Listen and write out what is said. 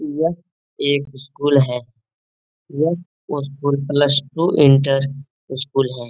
यह एक स्कूल है। यह school plus two inter school है।